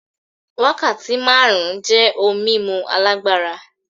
Wákàtí márùn-ún jẹ́ ohun mímu alágbára.